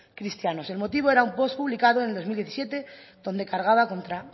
cristianos el motivo era un post publicado en el dos mil diecisiete donde cargaba contra